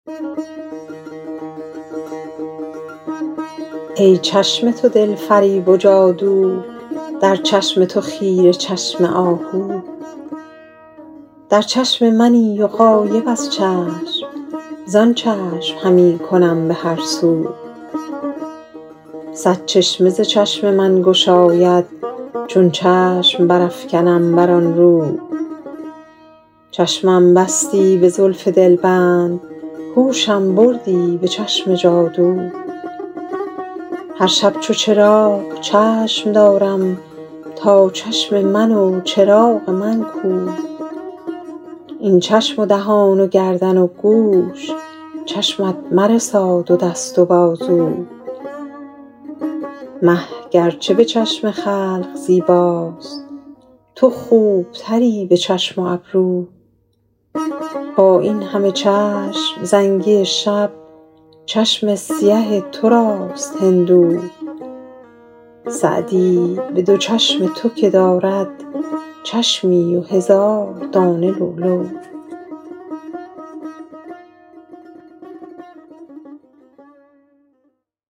ای چشم تو دل فریب و جادو در چشم تو خیره چشم آهو در چشم منی و غایب از چشم زآن چشم همی کنم به هر سو صد چشمه ز چشم من گشاید چون چشم برافکنم بر آن رو چشمم بستی به زلف دلبند هوشم بردی به چشم جادو هر شب چو چراغ چشم دارم تا چشم من و چراغ من کو این چشم و دهان و گردن و گوش چشمت مرساد و دست و بازو مه گر چه به چشم خلق زیباست تو خوب تری به چشم و ابرو با این همه چشم زنگی شب چشم سیه تو راست هندو سعدی به دو چشم تو که دارد چشمی و هزار دانه لولو